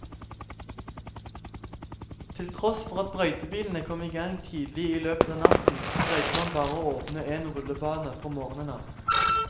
Til tross for at brøytebilene kom i gang tidlig i løpet av natten greide man bare å åpne en rullebane fra morgenen av.